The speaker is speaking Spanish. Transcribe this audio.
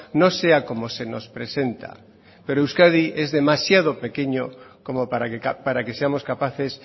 no sea como se nos presenta pero euskadi es demasiado pequeño como para que seamos capaces